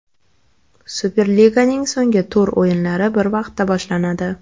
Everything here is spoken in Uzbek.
Superliganing so‘nggi tur o‘yinlari bir vaqtda boshlanadi.